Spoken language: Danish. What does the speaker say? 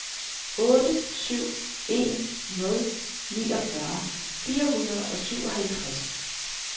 otte syv en nul niogfyrre fire hundrede og syvoghalvtreds